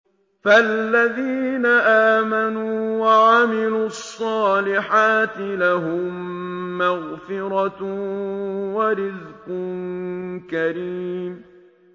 فَالَّذِينَ آمَنُوا وَعَمِلُوا الصَّالِحَاتِ لَهُم مَّغْفِرَةٌ وَرِزْقٌ كَرِيمٌ